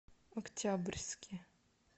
октябрьске